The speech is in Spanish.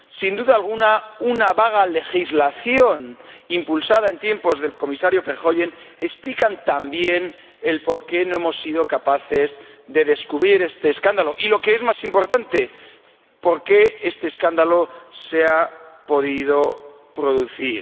Sin duda alguna, una vaga legislación impulsada en tiempos del Comisario Verheugen explica también por qué no hemos sido capaces de descubrir este escándalo y —lo que es más importante— por qué este escándalo se ha podido producir.